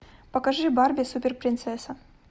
покажи барби супер принцесса